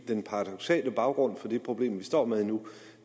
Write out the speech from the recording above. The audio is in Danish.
den paradoksale baggrund for det problem vi står med nu